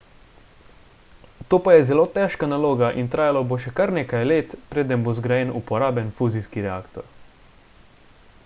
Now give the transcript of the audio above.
to pa je zelo težka naloga in trajalo bo še kar nekaj let preden bo zgrajen uporaben fuzijski reaktor